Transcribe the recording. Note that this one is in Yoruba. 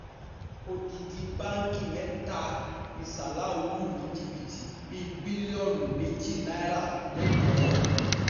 odidi báǹkì mẹ́ta ni salau lù ní jìbìtì bíi bílíọ̀nù méjì náírà lẹ́kọ̀ọ́